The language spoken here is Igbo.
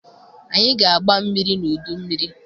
Anyị ga-agba mmiri n'udu mmiri.